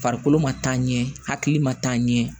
Farikolo ma taa ɲɛ hakili ma taa ɲɛ